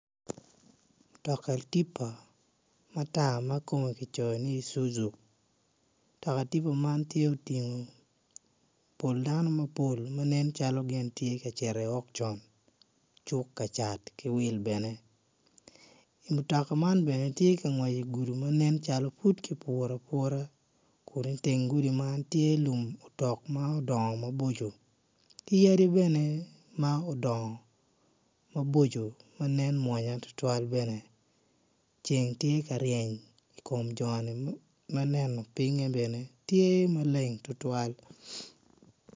Mutoka tipa matar makome kicoyo ni suzu mutoka tipa man tye oting pol dano mapol manen calo gitye ka cito i okson cuk ka cat ki wil bene I mutoka man bene tye ka ngwec i gudi manen calo pud ki puto aputa iteng gudi man tye lum otok ma odong maboco ki yadi bene ma odongo maboco manen mwonya tutwal bene ceng tye ka ryeny i kom joni maneno pinge bene tye maleng tutwal.